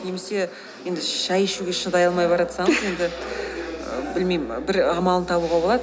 немесе енді шай ішуге шыдай алмай баратсаңыз енді білмеймін бір амалын табуға болады